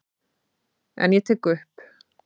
En ég tek upp.